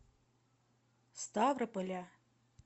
ставрополя